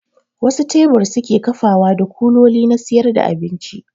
Wasu tebur suke kafawa da kuloli na siyar da abinci